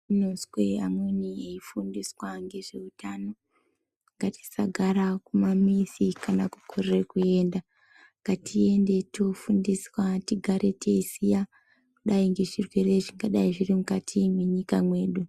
Tinozwe amweni eifundiswa ngezveutano ngatisagara kumamizi kana kukorere kuenda. Ngatiende toofundiswa tigare teiziya kudai ngezvirwere zvingadai zviri mukati mwenyika mwedu.